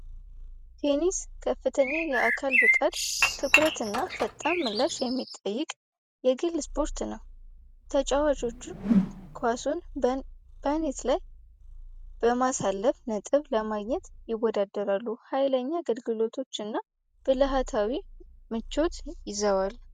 ቴኒስ ከፍተኛ የአካል ብቃት ትኩረት እና ፈጣን ምላሽ የሚጠይቅ የግል ስፖርት ነው። ተጫዋቾቹ ኳሱን በኔት ላይ በማሳለፍ ነጥብ ለማግኘት ይወዳደራሉ፣ ኃይለኛ አገልግሎቶች እና ብለሃታዊ ምቾት ይዘዋል።